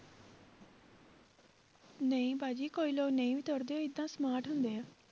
ਨਹੀਂ ਬਾਜੀ ਕੋਈ ਲੋਕ ਨਹੀਂ ਵੀ ਤੁਰਦਾ smart ਹੁੰਦੇ ਆ।